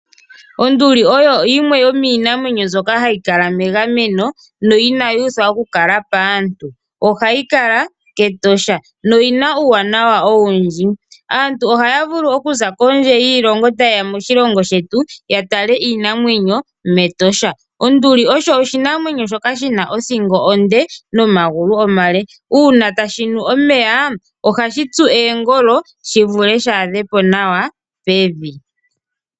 Onduli oyo yimwe yomiinamwenyo mbyoka hayi kala megameno no inayi uthwa okukala paantu. Ohayi kala kEtosha noyi na uuwanwa owundji. Aantu ohaya vulu okuza kondje yiilongo taye ya moshilongo shetu ya tale iinamwenyo mEtosha. Onduli osho oshinamwenyo shoka shi na othingo onde nomagulu omale. Uuna tashi nu omeya, ohashi tsu oongolo shi vule shi adhe po nawa pevi.